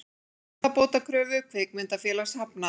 Skaðabótakröfu kvikmyndafélags hafnað